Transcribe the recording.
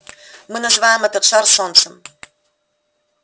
мы называем этот шар солнцем